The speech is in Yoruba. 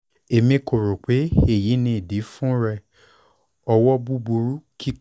emi ko ro pe eyi ni idi fun rẹ ọwọ buburu kikọ